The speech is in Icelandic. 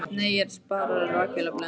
Nei, ég er að spara. rakvélarblöðin.